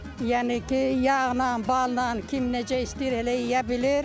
Yəni ki, yağnan, balnan kim necə istəyir elə yeyə bilir.